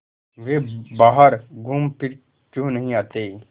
वे बाहर घूमफिर क्यों नहीं आते